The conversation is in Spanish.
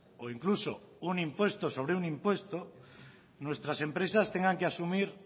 o incluso un impuesto sobre un impuesto nuestras empresas tengan que asumir